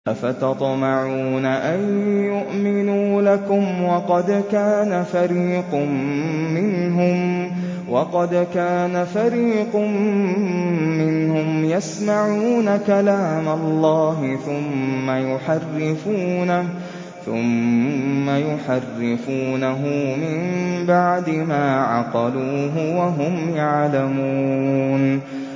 ۞ أَفَتَطْمَعُونَ أَن يُؤْمِنُوا لَكُمْ وَقَدْ كَانَ فَرِيقٌ مِّنْهُمْ يَسْمَعُونَ كَلَامَ اللَّهِ ثُمَّ يُحَرِّفُونَهُ مِن بَعْدِ مَا عَقَلُوهُ وَهُمْ يَعْلَمُونَ